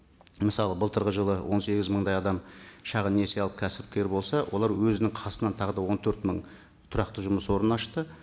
мысалы былтырғы жылы он сегіз мыңдай адам шағын несие алып кәсіпкер болса олар өзінің қасынан тағы да он төрт мың тұрақты жұмыс орнын ашты